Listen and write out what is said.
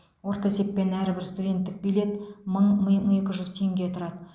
орташа есеппен әрбір студенттік билет мың мың екі жүз теңге тұрады